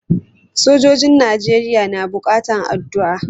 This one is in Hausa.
Sojojin Najeriya na buƙatan addu'a.